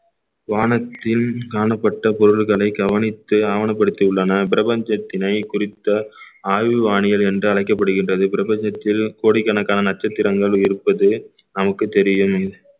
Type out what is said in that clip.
வானத்தில் காணப்பட்ட பொருட்களை கவனித்து ஆவணப்படுத்தியுள்ளனர் பிரபஞ்சத்தினை குறித்த ஆயுள் வானியர் என்று அழைக்கப்படுகின்றது பிரபஞ்சத்தில் கோடிக்கணக்கான நட்சத்திரங்கள் இருப்பது நமக்குத் தெரியும்